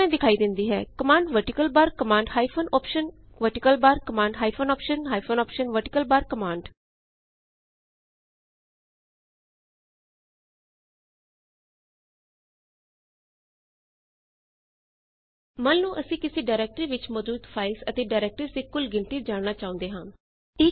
ਇਹ ਇਸ ਤਰਹ ਦਿਖਾਈ ਦਿੰਦੀ ਹੈ command vertical bar command hyphen option vertical bar command hyphen option hyphen option vertical bar command ਮੰਨ ਲਓ ਅਸੀਂ ਕਿਸੀ ਡਾਇਰੈਕਟਰੀ ਵਿੱਚ ਮੌਜੂਦ ਫਾਈਲਜ਼ ਅਤੇ ਡਾਇਰੈਕਟਰੀਜ਼ ਦੀ ਕੁੱਲ ਗਿਣਤੀ ਜਾਣਨਾ ਚਾਹੁੰਦੇ ਹਾਂ